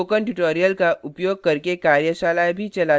spoken tutorials का उपयोग करके कार्यशालाएँ भी चलाती है